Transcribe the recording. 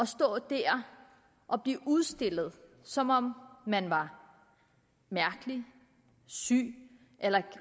stå der og blive udstillet som om man var mærkelig syg eller